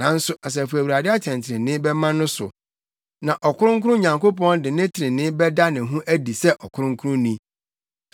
nanso Asafo Awurade atɛntrenee bɛma no so, na Ɔkronkron Nyankopɔn de ne trenee bɛda ne ho adi sɛ Ɔkronkronni.